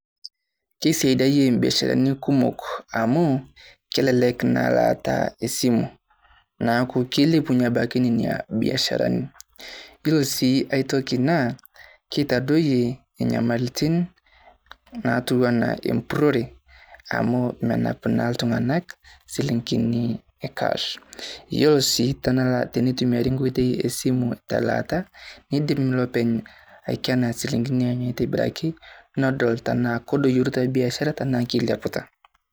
Kesaidiye ebiasharitin kumook amu kelelek naa laata e simu neeku kelepunye abaaki nenia biasharani. Yoo sii ai ntokii naa keitadoye enyamalitin naituwuana empurorie amu menaap naa iltung'anak silingini e cash. Yoo sii tenetumiari nkotei e simu te laata nidiim loopeny aikena silingini onye aitobiraki nedol tenaa kedoyorita biaashara tanaa keleapita.